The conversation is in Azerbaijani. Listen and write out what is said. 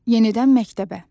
Yenidən məktəbə.